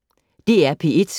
DR P1